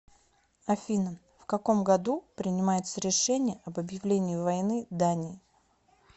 афина в каком году принимается решение об объявлении войны дании